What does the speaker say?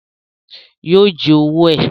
Yóò jí owó ẹ̀